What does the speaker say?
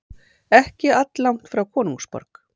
ekki alllangt frá konungsborg